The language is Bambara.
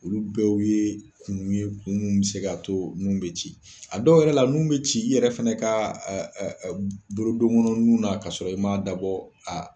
Olu dɔw ye kun ye kun mun be se ka to nun be ci a dɔw yɛrɛ la nun be ci i yɛrɛ fɛnɛ ka ɛɛ bolo don kɔnɔ nun na ka sɔrɔ i m'a dabɔ a